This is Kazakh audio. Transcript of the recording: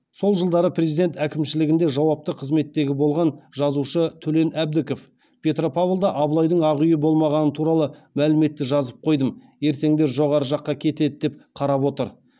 сол жылдары президент әкімшілігінде жауапты қызметтегі болған жазушы төлен әбдіков петропавлда абылайдың ақ үйі болмағаны туралы мәліметті жазып қойдым ертеңдер жоғары жаққа кетеді деп қарап отыр